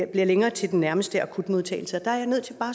bliver længere til nærmeste akutmodtagelse der er jeg nødt til bare